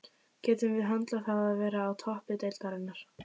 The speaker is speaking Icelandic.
Getum við höndlað það að vera á toppi deildarinnar?